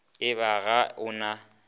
e ba ga o na